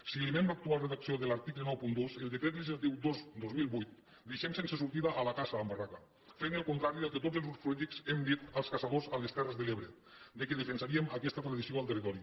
si llimem l’actual redacció de l’article noranta dos el decret legislatiu dos dos mil vuit deixem sense sortida a la caça amb barraca fent el contrari del que tots els grups polítics hem dit als caçadors a les terres de l’ebre que defensaríem aquesta tradició en el territori